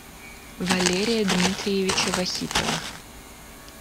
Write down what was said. валерия дмитриевича вахитова